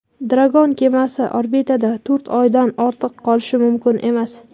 Dragon kemasi orbitada to‘rt oydan ortiq qolishi mumkin emas.